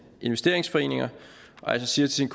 investeringsforeninger altså siger til